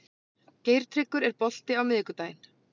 Geirtryggur, er bolti á miðvikudaginn?